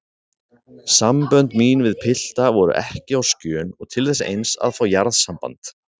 Sambönd mín við pilta voru ekki á skjön og til þess eins að fá jarðsamband.